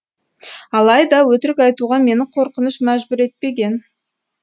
алайда өтірік айтуға мені қорқыныш мәжбүр етпеген